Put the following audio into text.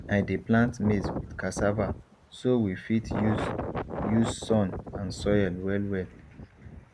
i dey plant maize with cassava so we fit use use sun and soil well well